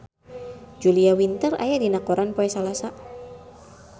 Julia Winter aya dina koran poe Salasa